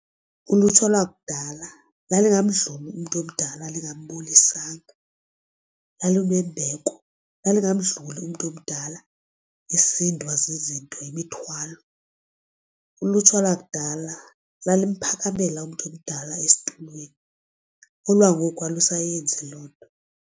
Ulutsha lwakudala lalingamdluli umntu omdala lingambulisanga. Lalinembeko, lalingamdluli umntu omdala esindwa zizinto yimithwalo. Ulutsha lakudala lalimphakamela umntu omdala esitulweni olwangoku alusayenzi loo nto.